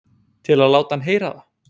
Til að láta hann heyra það?